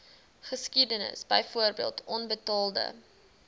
geskiedenis byvoorbeeld onbetaalde